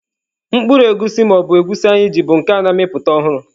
Mkpụrụ egusi ma ọ bụ Egusi anyị ji bụ nke a na-amịpụta ọhụrụ.